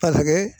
A kɛ